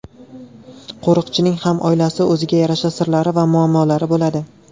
Qo‘riqchining ham oilasi, o‘ziga yarasha sirlari va muammolari bo‘ladi.